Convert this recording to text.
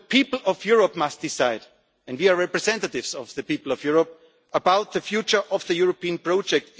of day. So the people of Europe must decide and we are representatives of the people of Europe about the future of the European